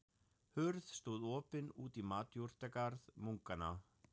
Hurð stóð opin út í matjurtagarð munkanna.